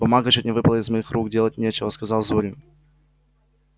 бумага чуть не выпала из моих рук делать нечего сказал зурин